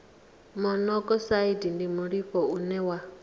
monokosaidi ndi mulimo une wa